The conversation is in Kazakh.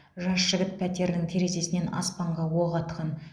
жас жігіт пәтерінің терезесінен аспанға оқ атқан